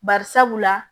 Bari sabula